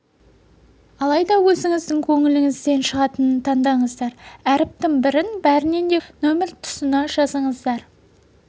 алайда өзіңіздің көңіліңізден шығатынын таңдаңыздар әріптің бірін бәрінен де көп деген сәйкесті номер тұсына жазыңыздар